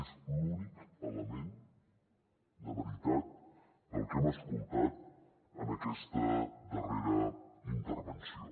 és l’únic element de veritat del que hem escoltat en aquesta darrera intervenció